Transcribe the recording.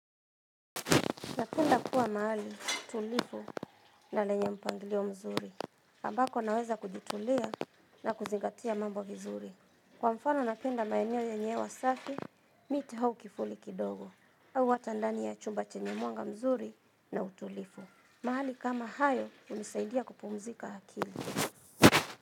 Napenda kuwa mahali, tulifu na lenye mpanglio mzuri. Ambako naweza kujitulia na kuzingatia mambo vizuri. Kwa mfano napenda maeno yenye hewa safi, miti au kivuli kidogo. Au hata ndani ya chumba chenye mwanga mzuri na utulifu. Mahali kama hayo hunisaidia kupumzika akili.